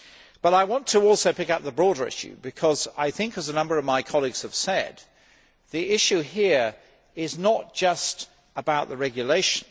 But I also want to pick up the broader issue because I think, as a number of my colleagues have said, the issue here is not just about the regulation